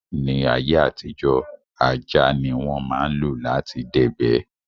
Ní ayé àtijó, ajá ní wọ́n ma ń lo lati dẹ̀gbẹ́